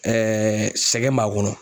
sɛgɛn b'a kɔnɔ